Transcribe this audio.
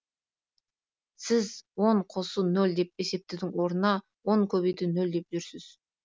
сіз он қосу нөл деп есептеудің орнына он көбейту нөл деп жүрсіз